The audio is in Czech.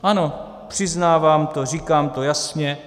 Ano, přiznávám to, říkám to jasně.